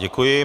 Děkuji.